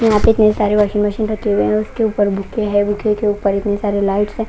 यहां पे इतने सारे वाशिंग मशीन रखे हुए हैं उसके ऊपर बुके हैं बुके के ऊपर इतने सारे लाइट्स है।